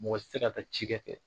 Mɔgɔ si tɛ se ka taa cikɛ kɛ.